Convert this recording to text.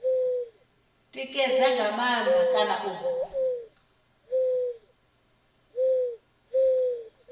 tikedza nga maanḓa kana u